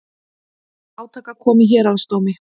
Til átaka kom í héraðsdómi